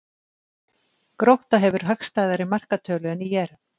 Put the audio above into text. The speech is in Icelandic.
Grótta hefur hagstæðari markatölu en ÍR